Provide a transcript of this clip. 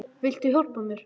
Viltu hjálpa mér?